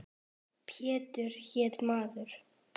Pétur hét maður.